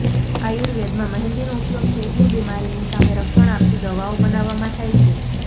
આર્યુવેદમાં મહેંદીનો ઉપયોગ પેટની બિમારીની સામે રક્ષણ આપતી દવાઓ બનાવવામાં થાય છે